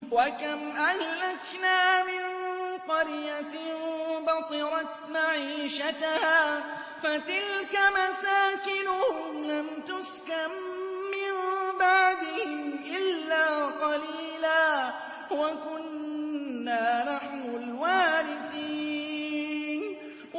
وَكَمْ أَهْلَكْنَا مِن قَرْيَةٍ بَطِرَتْ مَعِيشَتَهَا ۖ فَتِلْكَ مَسَاكِنُهُمْ لَمْ تُسْكَن مِّن بَعْدِهِمْ إِلَّا قَلِيلًا ۖ وَكُنَّا نَحْنُ الْوَارِثِينَ